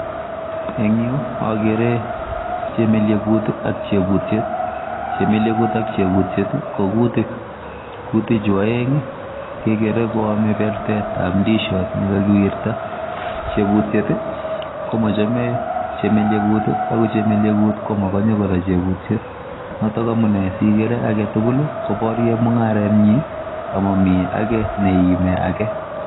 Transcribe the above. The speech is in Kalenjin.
Eng' yuu, agere chemeliegut ak chebutiet. Chemeliegut ak chebutiet, ko kutik. Kutik chu aeng', kegere koame bertetab ndishot ne kakiwirta. Chebutiet ko machame chemeliegut ak chemeliegut ko makanye kora chebutiet. Notok amune sigere age tugul, koborye mung'aret nyi, amami age ne iimi age.